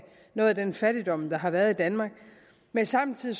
noget af den fattigdom der har været i danmark men samtidig